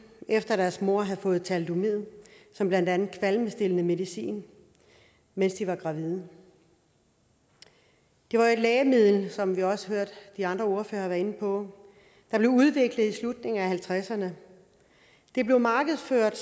efter at deres mødre havde fået thalidomid som blandt andet kvalmestillende medicin mens de var gravide det var et lægemiddel som vi også hørte de andre ordførere være inde på der blev udviklet i slutningen af nitten halvtredserne det blev markedsført